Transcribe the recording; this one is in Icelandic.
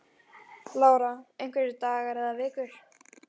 Lára: Einhverjir dagar eða vikur?